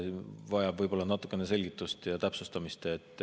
Vajab võib-olla natukene selgitust ja täpsustamist.